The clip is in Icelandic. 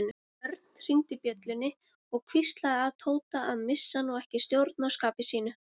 Örn hringdi bjöllunni og hvíslaði að Tóta að missa nú ekki stjórn á skapi sínu.